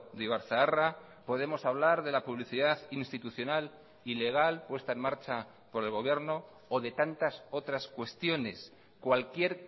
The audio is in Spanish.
de ibar zaharra podemos hablar de la publicidad institucional y legal puesta en marcha por el gobierno o de tantas otras cuestiones cualquier